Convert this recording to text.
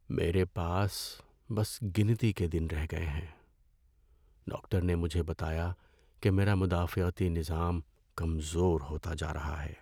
میرے پاس بس گنتی کے دن رہ گئے ہیں۔ ڈاکٹر نے مجھے بتایا کہ میرا مدافعتی نظام کمزور ہوتا جا رہا ہے۔